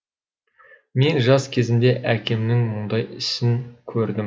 мен жас кезімде әкемнің мұндай ісін көрдім